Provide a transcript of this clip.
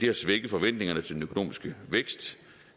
har svækket forventningerne til den økonomiske vækst